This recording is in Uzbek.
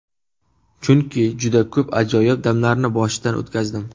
Chunki juda ko‘p ajoyib damlarni boshdan o‘tkazdim.